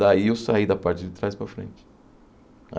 Daí eu saí da parte de trás para a frente.